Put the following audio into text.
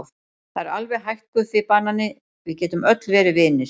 Það er alveg hægt Guffi banani, við getum öll verið vinir.